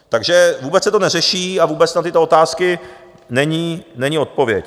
Takže vůbec se to neřeší a vůbec na tyto otázky není odpověď.